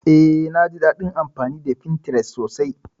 Eh, naji daɗin amfani da Pinterest sosai.